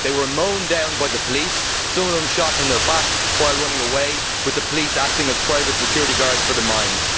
They were mown down by the police, some of them shot in the back while running away, with the police acting as private security guards for the mines.